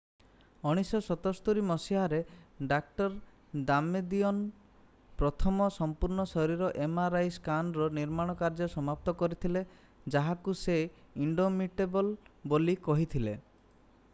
1977 ମସିହାରେ ଡାଃ. ଦାମେଦିଅନ୍ ପ୍ରଥମ ସମ୍ପୂର୍ଣ୍ଣ ଶରୀର mri ସ୍କାନର୍‌ର ନିର୍ମାଣ କାର୍ଯ୍ୟ ସମାପ୍ତ କରିଥିଲେ ଯାହାକୁ ସେ ଇଣ୍ଡୋମିଟେବଲ୍ ବୋଲି କହିଥିଲେ।